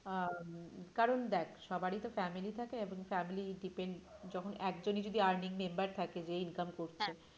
আহ কারণ দেখ সবারই তো family থাকে এবং family depend যখন একজনই যদি earning member থাকে যেই income করছে হ্যাঁ,